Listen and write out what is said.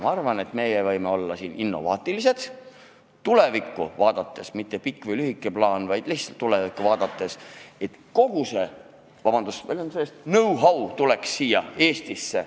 Ma arvan, et meie võime olla innovaatilised ja tulevikku vaadata – ma ei pea silmas mitte pikka või lühikest plaani, vaid lihtsalt tulevikku vaatamist –, et kogu see, vabandust väljenduse eest, know-how tuleks Eestisse.